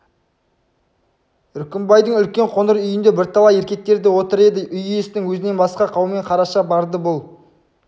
үркімбайдың үлкен қоңыр үйінде бірталай еркектер отыр еді үй иесінің өзінен басқа қаумен қараша барды бұл